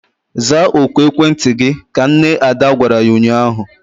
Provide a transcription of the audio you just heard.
Zaa oku ekwentị gị! Ka nne Ada gwara ya ụnyaahụ.